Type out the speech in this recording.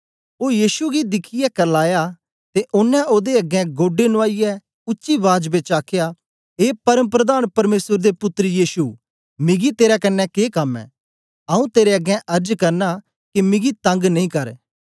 ओ यीशु गी दिखियै करलाया ते ओनें ओदे अगें गोढे नुआईयै उच्ची बाज बेच आखया ए परमप्रधान परमेसर दे पुत्तर यीशु मिगी तेरे कन्ने के कम ऐ आऊँ तेरे अगें अर्ज करना के मिगी तंग नेई कर